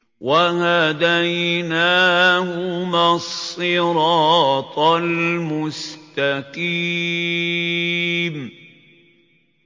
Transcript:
وَهَدَيْنَاهُمَا الصِّرَاطَ الْمُسْتَقِيمَ